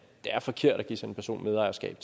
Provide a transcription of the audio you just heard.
er forkert at give sådan en person medejerskab